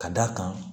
Ka d'a kan